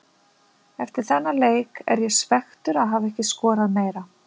Eftir þennan leik er ég svekktur að hafa ekki skorað meira.